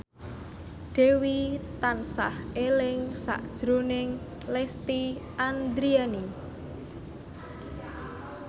Dewi tansah eling sakjroning Lesti Andryani